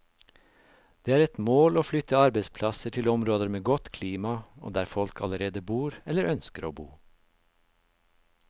Det er et mål å flytte arbeidsplasser til områder med godt klima, og der folk allerede bor, eller ønsker å bo.